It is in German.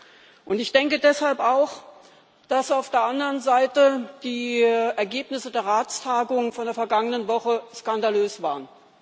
Deshalb denke ich auch, dass auf der anderen Seite die Ergebnisse der Ratstagung von der vergangenen Woche skandalös waren.